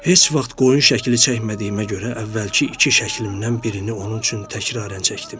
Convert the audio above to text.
Heç vaxt qoyun şəkli çəkmədiyimə görə əvvəlki iki şəklimdən birini onun üçün təkrarən çəkdim.